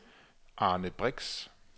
Arne Brix